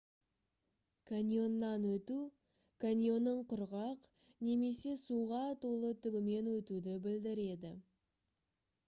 каньоннан өту каньонның құрғақ немесе суға толы түбімен өтуді білдіреді